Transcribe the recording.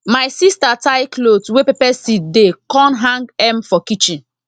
my sister tie cloth wey pepper seed dey con hang m for kitchen